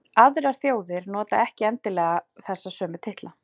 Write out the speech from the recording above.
aðrar þjóðir nota ekki endilega þessa sömu titla